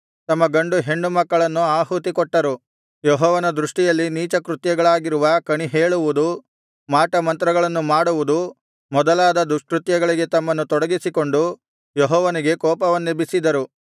ತಮ್ಮ ಗಂಡು ಹೆಣ್ಣು ಮಕ್ಕಳನ್ನು ಆಹುತಿ ಕೊಟ್ಟರು ಯೆಹೋವನ ದೃಷ್ಟಿಯಲ್ಲಿ ನೀಚಕೃತ್ಯಗಳಾಗಿರುವ ಕಣಿಹೇಳುವುದು ಮಾಟ ಮಂತ್ರಗಳನ್ನು ಮಾಡುವುದು ಮೊದಲಾದ ದುಷ್ಕೃತ್ಯಗಳಿಗೆ ತಮ್ಮನ್ನು ತೊಡಗಿಸಿಕೊಂಡು ಯೆಹೋವನಿಗೆ ಕೋಪವನ್ನೆಬ್ಬಿಸಿದರು